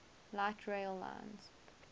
light rail lines